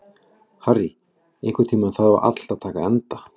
Harry, einhvern tímann þarf allt að taka enda.